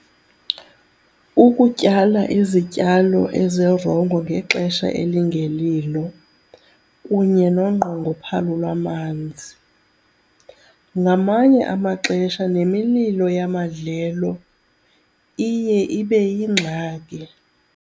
Ukutyala izityalo ezirongo ngexesha elingelilo kunye nonqongophalo lwamanzi, ngamanye amaxesha nemililo yamandlelo iye ibe yingxaki.